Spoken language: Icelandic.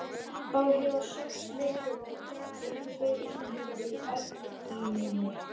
Þá hefjast sex leikir og eru tveir Íslendingar í eldlínunni.